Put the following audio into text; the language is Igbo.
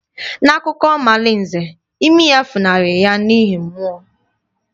N'akụkọ omalinze, imi ya funahụrụ ya n'ihi mmụọ